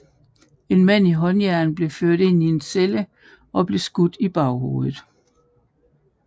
En mand i håndjern på blev ført ind i en celle og blev skudt i baghovedet